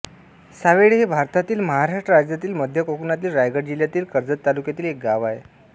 सावेळे हे भारतातील महाराष्ट्र राज्यातील मध्य कोकणातील रायगड जिल्ह्यातील कर्जत तालुक्यातील एक गाव आहे